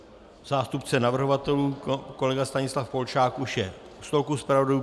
Zástupce navrhovatelů kolega Stanislav Polčák už je u stolku zpravodajů.